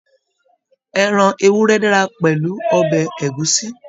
Ẹran ewúrẹ́ dára pẹ̀lú ọbẹ̀ ẹ̀gúsí.